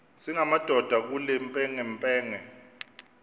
singamadoda kule mpengempenge